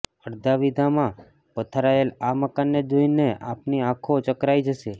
અડધા વિઘામાં પથરાયેલા અા મકાનને જોઈને અાપની અાંખો ચકરાઈ જશે